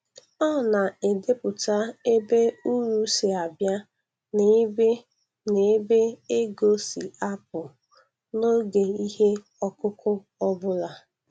Ọ na-edepụta ebe uru si abịa na ebe na ebe ego si apụ, n'oge ihe ọkụkụ ọ bụla.